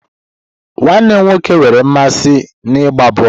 Nwanne m nwoke nwere mmasị n'ịgba bọọlụ.